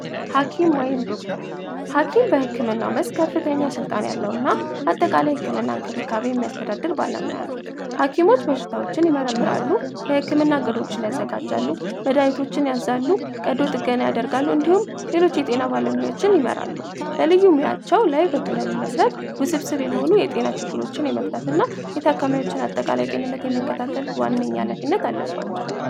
ሀኪም ወይም ዶክተር ሀኪም በህክምና ስልጣን ያለው እና አጠቃላይ ህክምና እንክብካቤ የሚያስተዳደር ባለሙያ ነው ሀኪሞች በሽታዎችን መረምራሉ የህክምና ቅዱስ ያዘጋጃሉ መድሃኒቶችን ያደርጋሉ እንዲሁም ሌሎች የጤና ይመራሉ ላይ በተብስብ የሆኑ የጤና ችግሮችን የመፍታትና የተከታተል ዋነኛነት አለባቸው